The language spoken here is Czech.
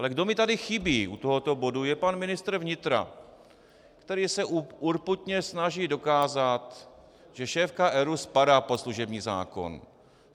Ale kdo mi tady chybí u tohoto bodu, je pan ministr vnitra, který se urputně snaží dokázat, že šéfka ERÚ spadá pod služební zákon.